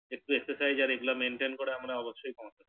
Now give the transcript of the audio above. একটু Exercise আর এগুলো Maintain করা আমরা অবশ্য করবো